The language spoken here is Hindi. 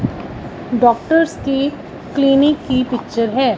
डॉक्टर्स की क्लिनिक की पिक्चर है।